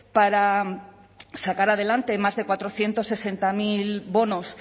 para sacar adelante más de cuatrocientos sesenta mil bonos